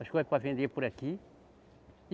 As coisas para vender por aqui.